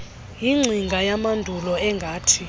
yingcinga yamandulo engathi